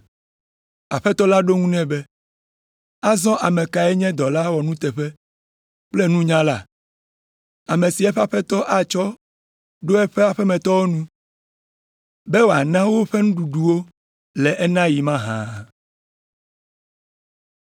Aƒetɔ la ɖo eŋu nɛ be, “Azɔ ame kae nye dɔla nuteƒewɔla kple nunyala, ame si eƒe aƒetɔ atsɔ ɖo eƒe aƒemetɔwo nu be wòana woƒe nuɖuɖu wo le enaɣi mahã?